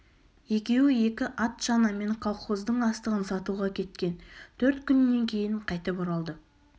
екеуі екі ат-шанамен колхоздың астығын сатуға кеткен төрт күннен кейін қайтып оралды